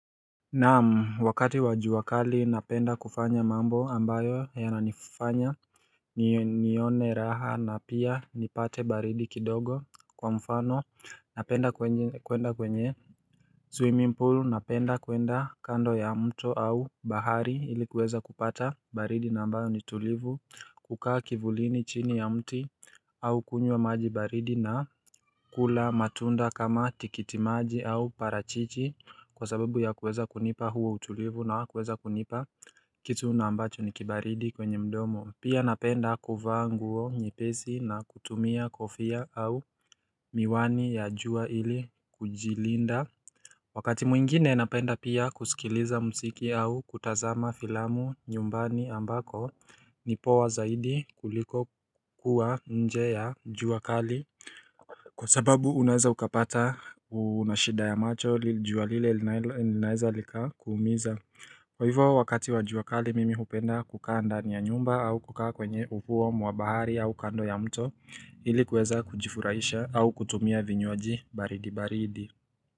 Naam wakati wa jua kali napenda kufanya mambo ambayo yananifanya nione raha na pia nipate baridi kidogo kwa mfano napenda kwenda kwenye swimming pool napenda kuenda kando ya mto au bahari ili kuweza kupata baridi na ambayo ni tulivu kukaa kivulini chini ya mti au kunywa maji baridi na kula matunda kama tikitimaji au parachichi kwa sababu ya kuweza kunipa huo utulivu na kuweza kunipa kitu na ambacho ni kibaridi kwenye mdomo. Pia napenda kuvaa nguo nyepesi na kutumia kofia au miwani ya jua ili kujilinda wakati mwingine napenda pia kusikiliza muziki au kutazama filamu nyumbani ambako ni poa zaidi kuliko kuwa nje ya jua kali. Kwa sababu unaweza ukapata unashida ya macho jua lile linaweza lika kuumiza. Kwa hivyo wakati wa juakali mimi hupenda kukaa ndani ya nyumba au kukaa kwenye ufuo mwa bahari au kando ya mto ilikuweza kujifurahisha au kutumia vinywaji baridi baridi.